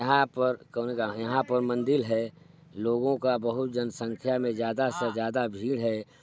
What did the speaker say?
यहाँ पर कोने गा यहाँ पर मंदिर है लोगों का बहुत जनसंख्या मे ज्यादा से ज्यादा भीड़ है।